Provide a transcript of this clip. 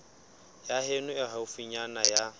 ya heno e haufinyana ya